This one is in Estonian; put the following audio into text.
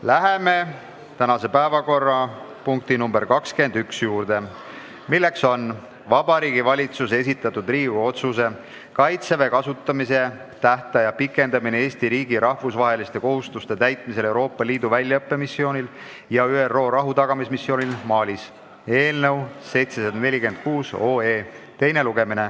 Läheme päevakorrapunkti nr 21 juurde, milleks on Vabariigi Valitsuse esitatud Riigikogu otsuse "Kaitseväe kasutamise tähtaja pikendamine Eesti riigi rahvusvaheliste kohustuste täitmisel Euroopa Liidu väljaõppemissioonil ja ÜRO rahutagamismissioonil Malis" eelnõu teine lugemine.